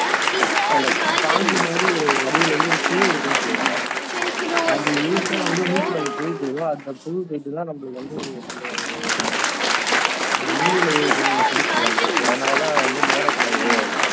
அந்த பாம்பு மாதிரி ஒரு வடிவில வந்து ஒரு பூ இருக்கும்னு சொல்வாங்க அது இழுத்தா வந்து மூக்குல அந்த பொருள் போய் அந்த பொருள் போயிட்டுதான் நம்மளுக்கு வந்து அந்த மூளைல போய்டும் அப்படின்னு சொல்லுவாங்க அதுனாலதான் வந்து முகரக்கூடாது